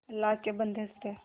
अल्लाह के बन्दे हंस दे